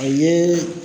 A ye